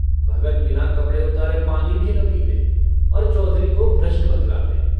भगत बिना कपड़े उतारे पानी भी न पीते और चौधरी को भ्रष्ट बतलाते।